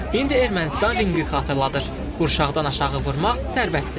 İndi Ermənistan rəngi xatırladır: Qurşaqdan aşağı vurmaq sərbəstdir.